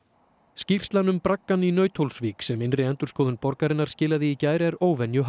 skýrslan um braggann í Nauthólsvík sem innri endurskoðun borgarinnar skilaði í gær er